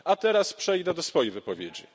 A teraz przejdę do swojej wypowiedzi.